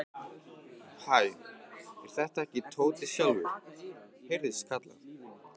Hæ, er þetta ekki Tóti sjálfur? heyrðist kallað.